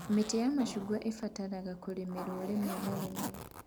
Mĩtĩ ya mĩcungwa ĩbataraga kũrĩmĩrwo rĩmwe na rĩmwe